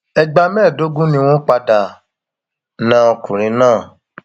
ẹgbà mẹẹẹdógún ni wọn padà na ọkùnrin náà